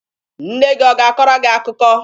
Nne gị ọ ga-akọrọ gị akụkọ?